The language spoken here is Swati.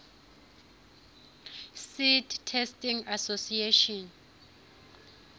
seed testing association